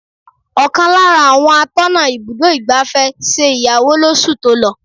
Ọ̀kan lára àwọn atọ́nà ibùdó igbàfẹ́ ṣe ìyàwó lọ oṣù tó lọ.